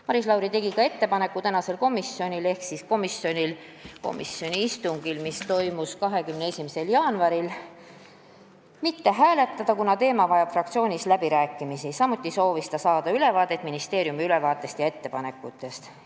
Maris Lauri tegi ka ettepaneku, et samal komisjoni istungil, mis toimus 21. jaanuaril, ei tuleks veel hääletada, sest teema vajaks veel fraktsioonis läbirääkimisi, samuti soovis ta saada ülevaadet ministeeriumi ülevaatest ja ettepanekutest.